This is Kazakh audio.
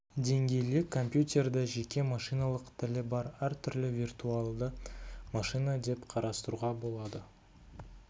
деңгейлі компьютерді жеке машиналық тілі бар әртүрлі виртуальді машина деп қарастыруға болады